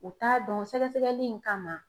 U t'a dɔn sɛgɛsɛgɛli in kama